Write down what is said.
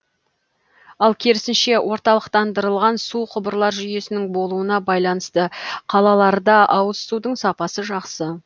ал керісінше орталықтандырылған су құбырлар жүйесінің болуына байланысты қалаларда ауыз судың сапасы жақсы